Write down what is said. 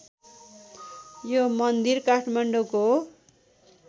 यो मन्दिर काठमाडौँको